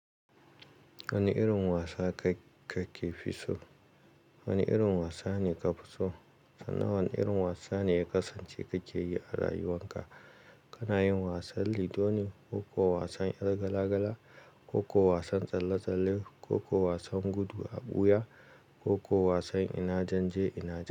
Wani irin wasa ka, ka ke fi so? Wani irin wasa ne ka fi so? Sannan wane irin wasa ne ya kasance ka ke yi a rayuwan ka? Kana yin wasan lido ne ko kuwa wasan yar gala-gala, ko kuwa wasan tsalle-tsalle, ko kuwa wasan gudu a ɓuya, ko kuwa wasan ina jan je ina ɗau.